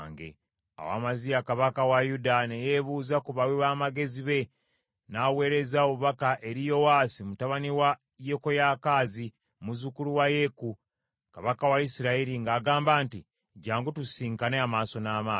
Awo Amaziya kabaka wa Yuda ne yeebuuza ku bawi b’amagezi be, n’aweereza obubaka eri Yowaasi mutabani wa Yekoyakaazi, muzzukulu wa Yeeku, kabaka wa Isirayiri, ng’agamba nti, “Jjangu tusisinkane amaaso n’amaaso.”